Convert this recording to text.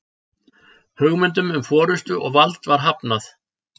Hugmyndum um forystu og vald var hafnað.